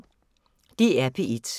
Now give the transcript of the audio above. DR P1